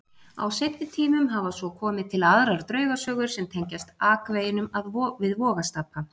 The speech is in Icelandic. Á seinni tímum hafa svo komið til aðrar draugasögur sem tengjast akveginum við Vogastapa.